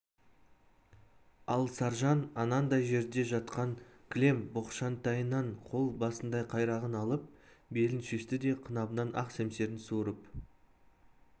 ал саржан анандай жерде жатқан кілем боқшантайынан қол басындай қайрағын алып белін шешті де қынабынан ақ семсерін суырып